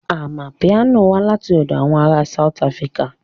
Amapiano wá láti ọ̀dọ̀ àwọn ará South Africa